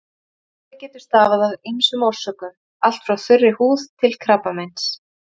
Kláði getur stafað af ýmsum orsökum, allt frá þurri húð til krabbameins.